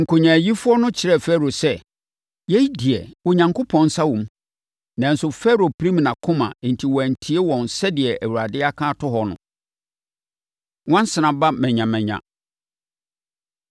Nkonyaayifoɔ no kyerɛɛ Farao sɛ, “Yei deɛ, Onyankopɔn nsa wɔ mu.” Nanso, Farao pirim nʼakoma enti wantie wɔn sɛdeɛ Awurade aka ato hɔ no. Nwansena Ba Manyamanya